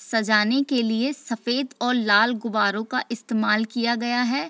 सजाने के लिए सफेद और लाल गुब्बारों का इस्तेमाल किया गया है।